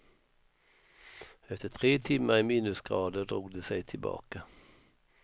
Efter tre timmar i minusgrader drog de sig tillbaka.